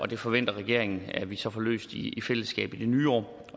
det forventer regeringen at vi så får løst i fællesskab i det nye år